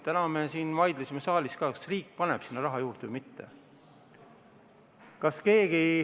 Täna me siin vaidlesime saalis ka, kas riik paneb sinna raha juurde või mitte.